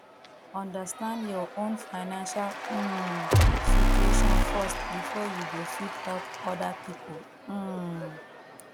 understand your own financial um situation first before you go fit help oda pipo um